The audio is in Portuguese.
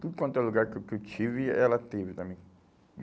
Tudo quanto é lugar que que que eu tive, ela teve também.